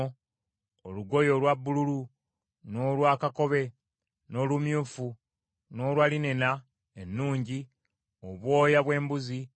n’olugoye olwa bbululu, n’olwa kakobe, n’olumyufu, n’olugoye olwa linena erangiddwa mu wuzi ennungi; n’obwoya bw’embuzi,